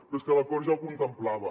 però és que l’acord ja ho contemplava